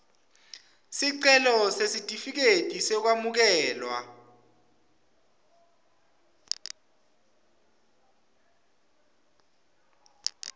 sicelo sesitifiketi sekwamukelwa